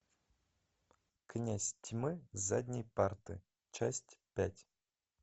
князь тьмы с задней парты часть пять